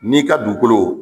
N'i ka duukolo